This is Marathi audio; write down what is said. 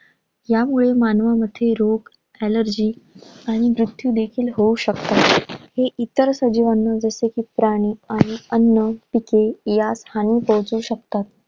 ह्यामुळे मानवामध्ये रोग, allergy आणि मृत्यू देखील होऊ शकतात. हे इतर सजीवाना जसे प्राणी आणि अन्न, पिके ह्यास हानी पोहचवू शकतात.